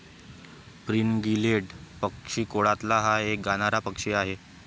Fringillidae पक्षीकुळातला हा एक गाणारा पक्षी आहे.